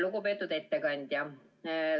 Lugupeetud ettekandja!